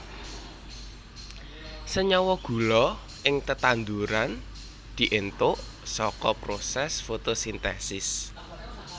Senyawa gula ing tetanduran diéntuk saka prosès fotosintesis